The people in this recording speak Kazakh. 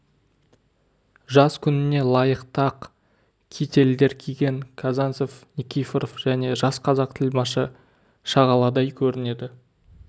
жаз күніне лайықты ақ кительдер киген казанцев никифоров және жас қазақ тілмашы шағаладай көрінеді